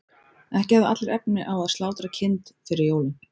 Ekki höfðu allir efni á að slátra kind fyrir jólin.